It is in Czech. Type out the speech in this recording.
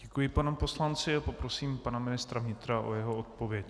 Děkuji panu poslanci a poprosím pana ministra vnitra o jeho odpověď.